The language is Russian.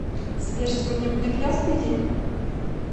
сбер сегодня будет ясный день